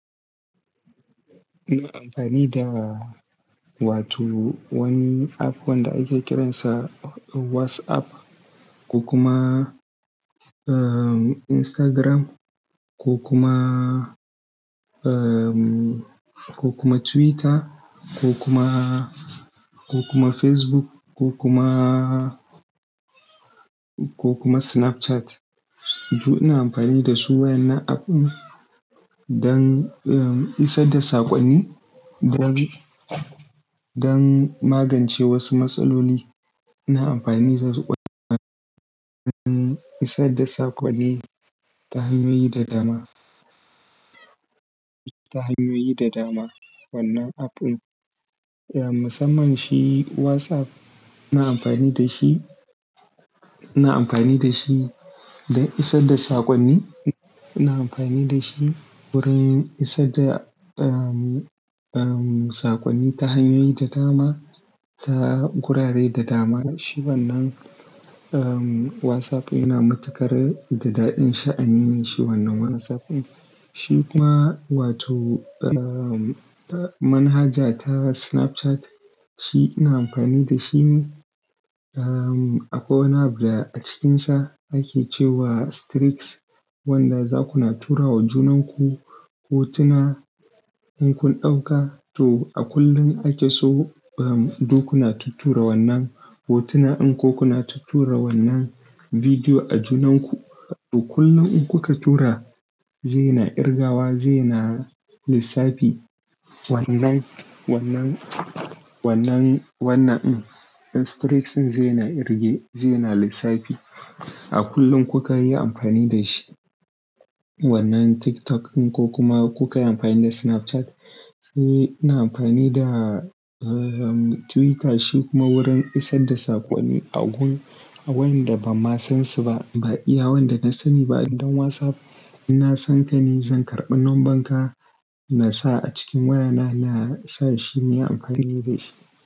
Ina amfani da wato wani app wanda ake kiransa WhatsApp ko kuma, Instagram ko kuma, eh, ko kuma Twitter ko kuma, ko kuma Facebook ko kuma, ko kuma Snapchat. To ina amfani da su wa en nan app ɗin don, eh, isar da saƙonni don, don magance wasu matsaloli. Ina amfani da wasu kwana don isar da saƙonni ta hanyoyi da dama, ta hanyoyi da dama wannan app ɗin. Eh, musamman shi WhatsApp ina amfani da shi, ina amfani da shi don isar da saƙonni. Ina amfani da shi wurin isar da, eh, eh, saƙonni ta hanyoyi da dama, ta gurare da dama. Shi wannan, eh, WhatsApp yana matuƙar daɗin sha'ani mai shi wannan WhatsApp ɗin. Shi kuma wato, eh, manhaja ta Snapchat shi ina amfani da shi ne, ehm, akwi wani da a cikinsa ake cewa streaks wanda za kuna tura wa junanku hotuna in kun ɗauka. To a kullum ake so, eh, duk kuna tuttura wannan hotuna din ko kuna tuttura wannan bidiyo a junanku. To kullum in kuka tura zai na irgawa, zai na lissafi wannan, wannan, wannan, wannan streaks zai na irge, zai na lissafi a kullum kuka yi amfani da shi. Wannan TikTok in ko kuma kuka yi amfani da Snapchat. Shi ina amfani da, eh, Twitter shi kuma wurin isar da saƙonni a gun, a wayanda ban ma san su ba. Ba iya wanda na sani ba idan WhatsApp ina san ka ne zan karɓi lamban ka na sa a cikin wayana na sa shi ne amfani da shi.